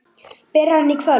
Byrjar hann í kvöld?